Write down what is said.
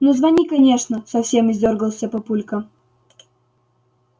ну звони конечно совсем издёргался папулька